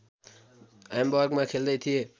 ह्याम्बर्गमा खेल्दै थिए